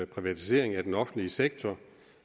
privatiseringen af den offentlige sektor